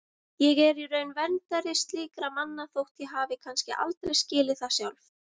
Ég er í raun verndari slíkra manna þótt ég hafi kannski aldrei skilið það sjálf.